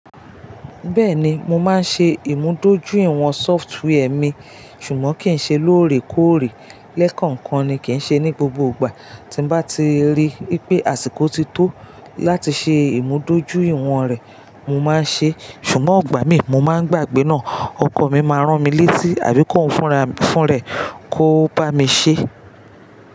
Bẹ́ẹ̀ni, mo máa ń ṣe ìmúdójúìwọ̀n software mi, ṣùgbọ́n kì í ṣe lóòrèkóòrè. Lẹ́kànkan ni, kì í ṣe ní gbogbo ìgbà. Tí nbá ti rí wipé àsìkò ti tó láti ṣe ìmúdójúìwọ̀n rẹ̀, mo máa ń ṣe é. Ṣùgbọ́n igbà mí, mo máa ń gbàgbé náà. Ọkọ mi máa rán mi létí àbí kóun fúnra fún rẹ̀ kó bá mi ṣe é.